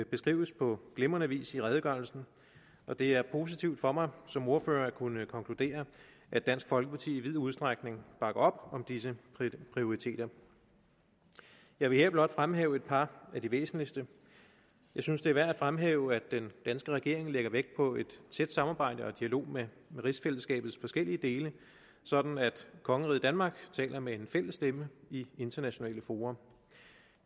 beskrives på glimrende vis i redegørelsen og det er positivt for mig som ordfører at kunne konkludere at dansk folkeparti i vid udstrækning bakker op om disse prioriteter jeg vil her blot fremhæve et par af de væsentligste jeg synes det er værd at fremhæve at den danske regering lægger vægt på et tæt samarbejde og en dialog med rigsfællesskabets forskellige dele sådan at kongeriget danmark taler med en fælles stemme i internationale fora